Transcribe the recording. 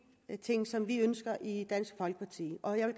ting som vi ønsker i dansk folkeparti og jeg